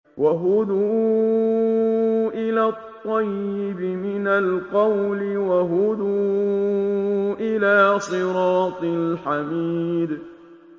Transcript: وَهُدُوا إِلَى الطَّيِّبِ مِنَ الْقَوْلِ وَهُدُوا إِلَىٰ صِرَاطِ الْحَمِيدِ